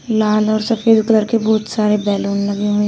लाल और सफेद कलर के बहुत सारे बैलून लगे हुए--